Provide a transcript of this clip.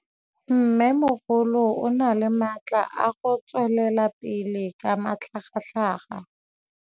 Mmêmogolo o na le matla a go tswelela pele ka matlhagatlhaga.